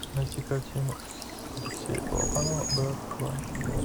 найти картину алексея балабанова брат два